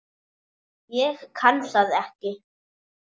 Hún kann það ekki.